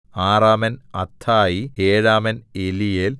ആറാമൻ അത്ഥായി ഏഴാമൻ എലീയേൽ